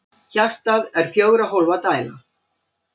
Hjartað er fjögurra hólfa dæla.